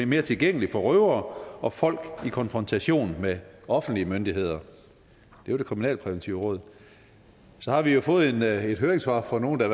mere tilgængeligt for røvere og folk i konfrontation med offentlige myndigheder det var det kriminalpræventive råd og så har vi jo fået et et høringssvar fra nogle der